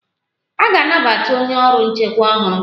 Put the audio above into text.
A ga-anabata onye ọrụ nchekwa ọhụrụ.